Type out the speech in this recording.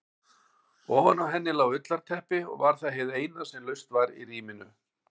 Ofan á henni lá ullarteppi og var það hið eina sem laust var í rýminu.